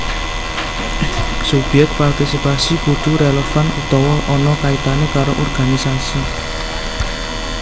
Subyek partisipasi kudu rélevan utawa ana kaitané karo organisasi